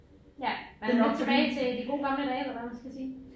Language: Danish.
Ja man er lidt tilbage til de gode gamle dage eller hvad man skal sige